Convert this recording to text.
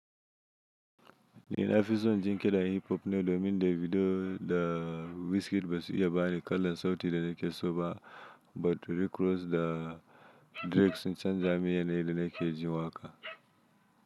Ni na fi son jin ƙirar Hiphop ne domin Davido da Wizkid ba su iya bani kalar sauti da nake so ba, but Rick Ross da Drake sun canza min yanayin da nake jin waƙa.